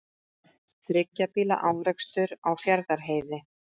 Þriggja bíla árekstur á Fjarðarheiði